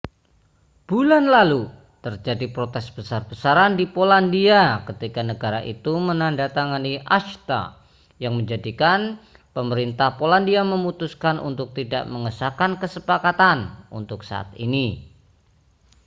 bulan lalu terjadi protes besar-besaran di polandia ketika negara itu menandatangani acta yang menjadikan pemerintahan polandia memutuskan untuk tidak mengesahkan kesepakatan untuk saat ini